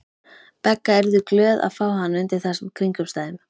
Begga yrðu glöð að fá hann undir þessum kringumstæðum.